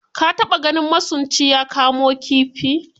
Ka taba ganin masunci ya kamo kifi?